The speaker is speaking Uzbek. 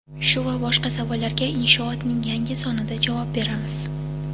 Shu va boshqa savollarga Inshoot’ning yangi sonida javob beramiz.